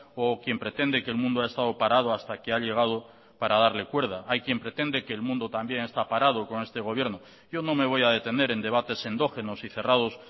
o quien pretende que el mundo ha estado parado hasta que ha llegado para darle cuerda hay quien pretende que el mundo también esta parado con este gobierno yo no me voy a detener en debates endógenos y cerrados